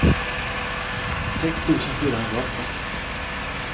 sex tusen fyrahundraåtta